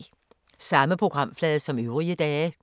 Samme programflade som øvrige dage